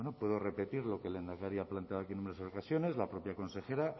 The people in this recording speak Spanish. puedo repetir lo que el lehendakari ha planteado aquí en numerosas ocasiones la propia consejera